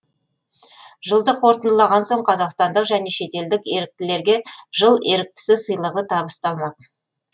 жылды қорытындылаған соң қазақстандық және шетелдік еріктілерге жыл еріктісі сыйлығы табысталмақ